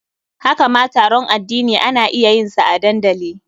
Haka ma taron addini ana iya yin sa a dandali.